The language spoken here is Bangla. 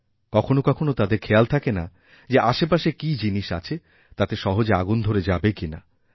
কখনও কখনও তাদের খেয়াল থাকে না যে আশেপাশে কিজিনিস আছে তাতে সহজে আগুন ধরে যাবে কিনা